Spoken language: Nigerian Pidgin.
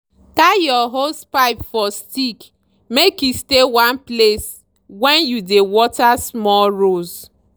tie your hosepipe for stick make e stay one place when you dey water small rows.